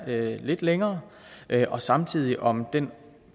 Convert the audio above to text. være lidt længere og samtidig om den